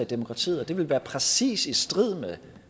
demokratiet og det ville være præcis i strid